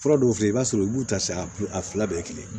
Fura dɔw fe yen i b'a sɔrɔ i b'u ta sa a fila bɛɛ kɛlɛ